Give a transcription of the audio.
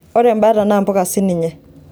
ore embata naa mbuka sininye